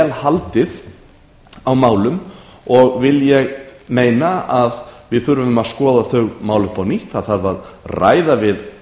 haldið á málum og vil ég meina að það þurfi að skoða þau mál upp á nýtt það þarf að ræða við